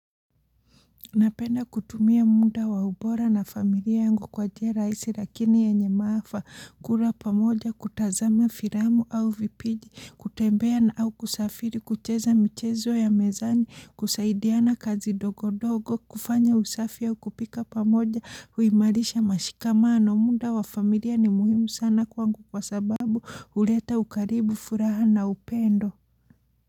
Napenda kutumia muda wa ubora na familia yangu kwa jia raisi lakini ya nye maafa kula pamoja kutazama firamu au vipiji kutembea na au kusafiri kucheza michezo ya mezani kusaidiana kazi dogo dogo kufanya usafi au kupika pamoja huimarisha mashika mano muda wa familia ni muhimu sana kwa ngu kwa sababu huleta ukaribu furaha na upendo.